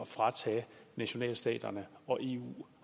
fratage nationalstaterne og eu